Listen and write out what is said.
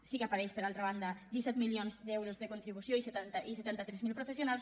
sí que apareixen per altra banda disset mil milions d’euros de contribució i setanta tres mil professionals